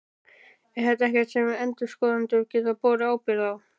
Er þetta ekkert sem að endurskoðendur gætu borið ábyrgð á?